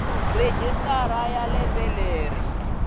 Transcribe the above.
registrar lembe na lembe yi